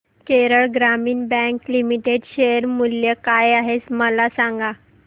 केरळ ग्रामीण bank limited share मूल्य काय आहे मला सांगा